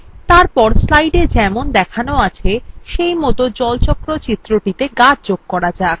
এরপর এই slideএ যেমন দেখানো আছে সেইমত এই জল চক্র চিত্রটিতে গাছ যোগ করা যাক